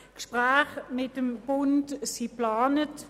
Gespräche mit dem Bund sind geplant.